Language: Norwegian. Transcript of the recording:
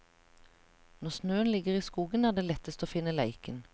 Når snøen ligger i skogen er det lettest å finne leiken.